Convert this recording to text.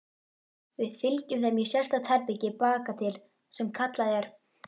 Við fylgjum þeim í sérstakt herbergi bakatil sem kallað er